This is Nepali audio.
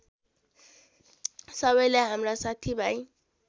सबैले हाम्रा साथीभाइ